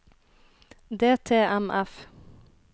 DTMF